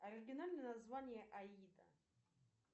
оригинальное название аида